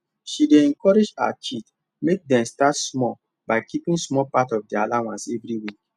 she dey encourage her kids make dem start small by keeping small part of their allowance every week